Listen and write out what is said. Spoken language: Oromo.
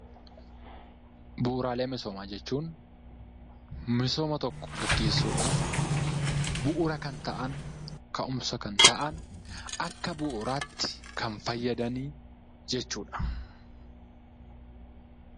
Bu'uraalee misoomaa jechuun misooma tokko gaggeessuudhaaf bu'ura kan ta'an, kau'umsa kan ta'an, akka bu'uuraatti kan fayyadan jechuudha.